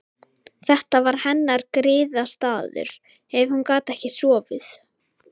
Þetta var hennar griðastaður ef hún gat ekki sofið.